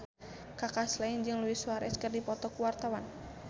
Kaka Slank jeung Luis Suarez keur dipoto ku wartawan